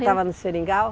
estava no seringal?